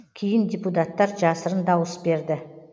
кейін депутаттар жасырын дауыс берді